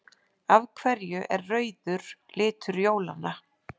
Af hverju er rauður litur jólanna?